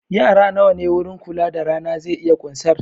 Yara nawa ne wurin kula da rana zai iya ƙunsar?